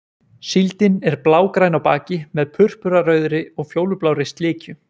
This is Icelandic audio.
Síldin er blágræn á baki með purpurarauðri og fjólublárri slikju.